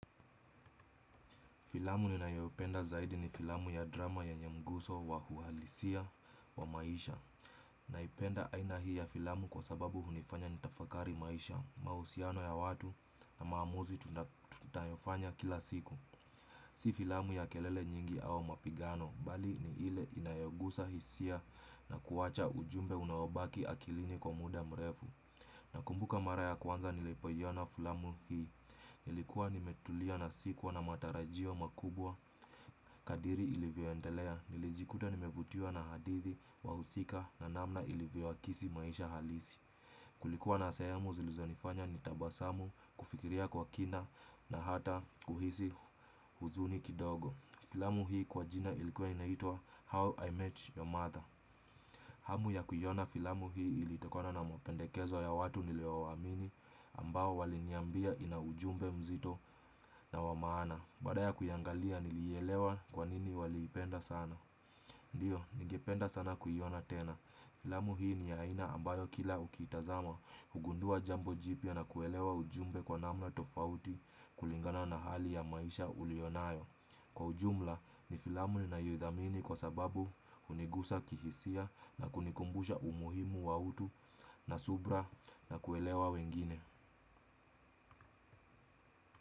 Filamu ninayoipenda zaidi ni filamu ya drama ya nyamguso wa hualisia wa maisha Naipenda aina hii ya filamu kwa sababu hunifanya nitafakari maisha, mahusiano ya watu na maamuzi tunayofanya kila siku Si filamu ya kelele nyingi au mapigano, bali ni ile inayogusa hisia na kuwacha ujumbe unawobaki akilini kwa muda mrefu Nakumbuka mara ya kwanza nilipoiona filamu hii, nilikuwa nimetulia na sikuwa na matarajio makubwa, kadiri ilivyoendelea, nilijikuta nimevutiwa na hadithi, wahusika na namna ilivyoakisi maisha halisi. Kulikuwa na sehemu zilizonifanya nitabasamu, kufikiria kwa kina na hata kuhisi huzuni kidogo. Filamu hii kwa jina ilikuwa inaitwa How I Met Your Mother. Hamu ya kuiona filamu hii ilitokana na mapendekezo ya watu niliowaamini ambao waliniambia ina ujumbe mzito na wa maana. Baada ya kuiangalia nilielewa kwanini waliipenda sana. Ndio, ningependa sana kuiona tena. Filamu hii ni ya aina ambayo kila ukiitazama hugundua jambo jipya na kuelewa ujumbe kwa namna tofauti kulingana na hali ya maisha ulio nayo. Kwa ujumla ni filamu ninayoidhamini kwa sababu hunigusa kihisia na kunikumbusha umuhimu wa utu na subira na kuelewa wengine.